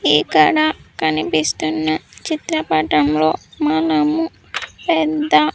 ఇక్కడ కనిపిస్తున్న చిత్రపటంలో మనము పెద్ద.